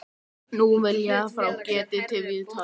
Og hvað haldið þið báðir blýantarnir mölbrotnuðu!